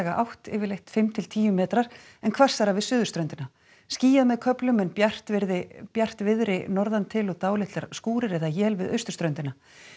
átt yfirleitt fimm til tíu metrar en hvassara við suðurströndina skýjað með köflum en bjartviðri bjartviðri norðan til og dálitlar skúrir eða él við austurströndina